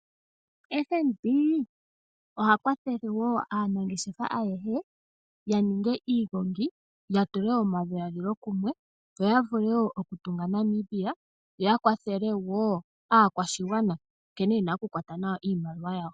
FNB ohakwathele aanangeshefa ayehe yaninge iigongi ya tule omadhiladhilo kumwe yoya vule okutunga Namibia yoya kwathele aakwashigwana nkene yena okukwata nawa iimaliwa yawo.